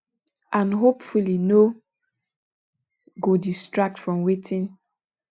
and hopefully no go distract from wetin